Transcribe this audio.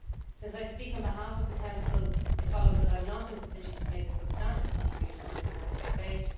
Since I speak on behalf of the Council, it follows that I am not in a position to make a substantive contribution to this morning's debate.